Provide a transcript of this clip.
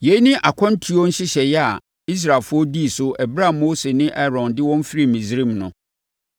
Yei ne akwantuo nhyehyɛeɛ a Israelfoɔ dii so ɛberɛ a Mose ne Aaron de wɔn firi Misraim no.